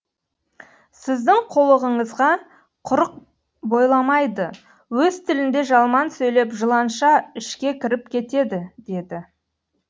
сіздің қулығыңызға құрық бойламайды өз тілінде жалман сөйлеп жыланша ішке кіріп кетеді деді